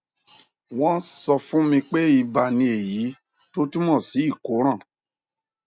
wọn sọ fún mi pé iba ni èyí tó túmọ sí ìkóràn